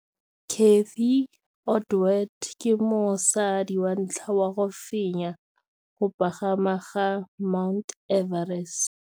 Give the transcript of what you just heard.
Cathy Odowd ke mosadi wa ntlha wa go fenya go pagama ga Mt Everest.